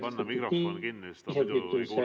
Teid ei ole kuulda, ma väga vabandan!